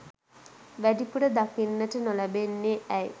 වැඩිපුර දකින්නට නොලැබෙන්නේ ඇයි?